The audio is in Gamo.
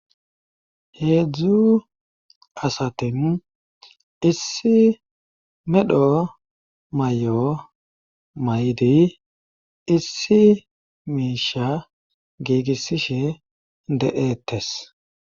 heedzdzu asatin issi medho may7o may7di issi miisha giigissishe de7eettes